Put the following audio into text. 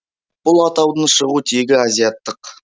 бұл атаудың шығу тегі азиаттық